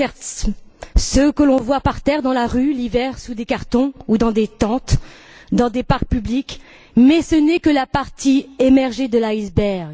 Il y a certes les sans abri que l'on voit par terre dans la rue, l'hiver, sous des cartons ou dans des tentes, dans des parcs publics, mais ce n'est que la partie émergée de l'iceberg.